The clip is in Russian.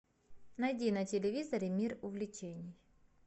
найди на телевизоре мир увлечений